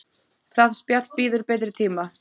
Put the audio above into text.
Það spjall bíður betri tíma.